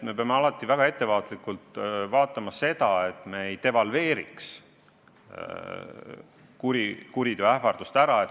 Me peame väga hoolikalt jälgima, et me kuriteoähvardust ära ei devalveeriks.